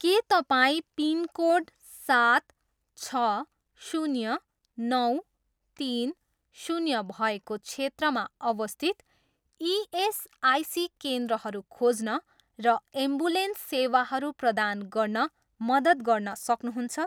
के तपाईँँ पिनकोड सात छ शून्य नौ तिन शून्य भएको क्षेत्रमा अवस्थित इएसआइसी केन्द्रहरू खोज्न र एम्बुलेन्स सेवाहरू प्रदान गर्न मद्दत गर्न सक्नुहुन्छ?